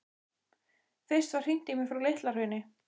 Fyrst var hringt í mig frá Litla-Hrauni.